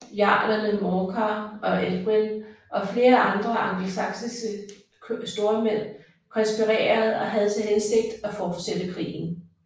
Jarlerne Morcar og Edwin og flere andre angelsaksiske stormænd konspirerede og havde til hensigt at fortsætte krigen